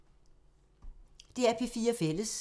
DR P4 Fælles